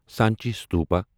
Sanchi Stupa